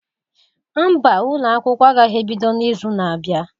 Mba ụlọ akwụkwọ agaghị ebido n'izu na-abịa.